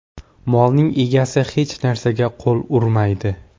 Molning egasi hech narsaga qo‘l urmaydi.